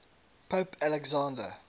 pope alexander